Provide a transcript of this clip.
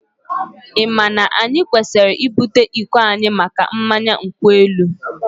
Ị ma na anyị kwesịrị ibute iko anyị maka mmanya nkwu elu?